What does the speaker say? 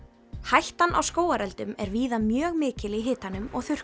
hættan á skógareldum er víða mjög mikil í hitanum og